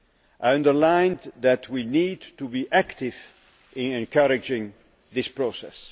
I underlined that we need to be active in encouraging this process.